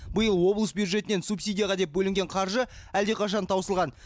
биыл облыс бюджетінен субсидияға деп бөлінген қаржы әлдеқашан таусылған